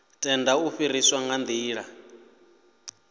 tenda u fariwa nga nḓila